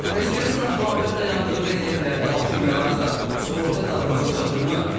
Bəs görəsən avtomobil dayandığı vəziyyətlərdə alışıb yanarsa, sığorta dadımıza çatıırmı?